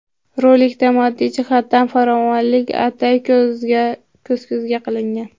Rolikda moddiy jihatdan farovonlik ataylab ko‘z-ko‘z qilingan.